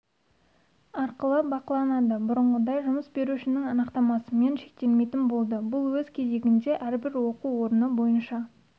арқылы бақыланады бұрынғыдай жұмыс берушінің анықтамасымен шектелмейтін болды бұл өз кезегінде әрбір оқу орны бойынша